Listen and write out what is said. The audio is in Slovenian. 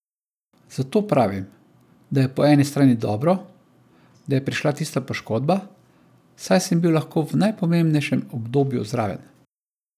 Zato pravim, da je po eni strani dobro, da je prišla tista poškodba, saj sem bil lahko v najpomembnejšem obdobju zraven.